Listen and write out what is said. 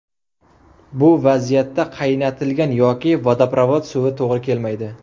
Bu vaziyatda qaynatilgan yoki vodoprovod suvi to‘g‘ri kelmaydi.